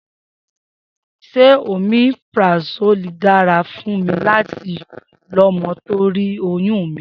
Se omeprazoli dára fún mí láti lọmò torí oyún mi?